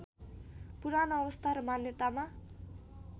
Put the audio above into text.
पुरानो अवस्था र मान्यतामा